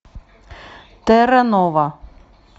терра нова